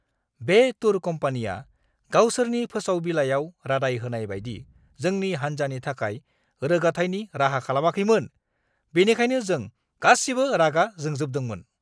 बे टुर कम्पानिया गावसोरनि फोसाव-बिलाइआव रादाइ होनाय बायदि जोंनि हान्जानि थाखाय रोगाथायनि राहा खालामाखैमोन, बेनिखायनो जों गासिबो रागा जोंजोबदोंमोन!